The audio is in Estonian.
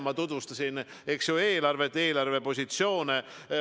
Ma tutvustasin, eks ole, eelarvet, eelarvepositsioone.